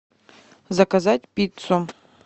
заказать пиццу